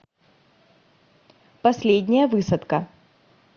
последняя высадка